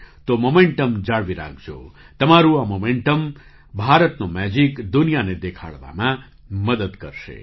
તો મૉમેન્ટમ જાળવી રાખજોતમારું આ મૉમેન્ટમભારતનો મેજિક દુનિયાને દેખાડવામાં મદદ કરશે